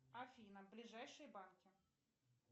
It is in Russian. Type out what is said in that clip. афина ближайшие банки